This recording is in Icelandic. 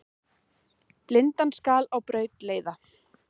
Blindan skal á braut leiða.